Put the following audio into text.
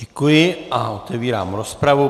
Děkuji a otevírám rozpravu.